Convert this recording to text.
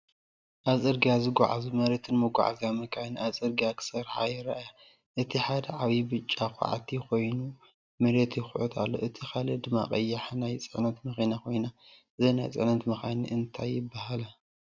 ኣብ ጽርግያ ዝጓዓዛ መሬትን መጓዓዝያን መካይን ኣብ ጽርግያ ክሰርሓ ይረኣያ። እቲ ሓደ ዓቢ ብጫ ኳዕቲ ኮይኑ፡ መሬት ይኹዕት ኣሎ። እቲ ካልእ ድማ ቀያሕ ናይ ጽዕነት መኪና ኮይኑ፡ እዘን ናይ ጽዕነት መካይን እንታይ ይባሃላ?